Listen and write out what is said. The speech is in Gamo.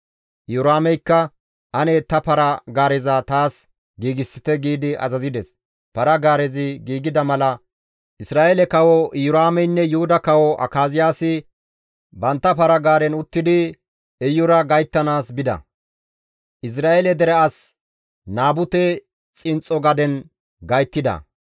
Iyoraameykka, «Ane ta para-gaareza taas giigsite» giidi azazides. Para-gaarezi giigida mala Isra7eele kawo Iyoraameynne Yuhuda kawo Akaziyaasi bantta para-gaaren uttidi Iyura gayttanaas bida; Izra7eele dere as Naabute xinxxo gaden gayttida.